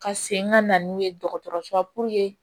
Ka segin ka na n'u ye dɔgɔtɔrɔso la